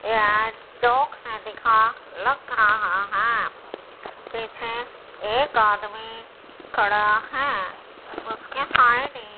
चौक से दिखा लग रहा हैं पीछे एक आदमी खड़ा हैं उसके साइड ही--